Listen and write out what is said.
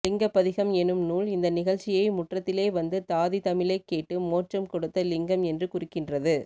லிங்கப்பதிகம் என்னும் நூல் இந்த நிகழ்ச்சியை முற்றத்திலே வந்து தாதி தமிழைக் கேட்டு மோட்சம் கொடுத்த லிங்கம் என்று குறிக்கின்றது